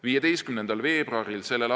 15. veebruaril s.